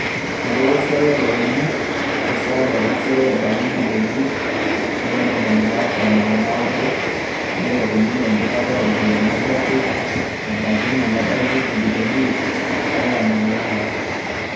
Eilepua esiiai oo looni te sajajt e isiet ajo abaik imbilioni ip are o ntomoni naapishana oo naudo neilepu sininye empikata oo ropiyiani ajo ake abaiki ina, nebaiki imbilioni ip are onom oo nguan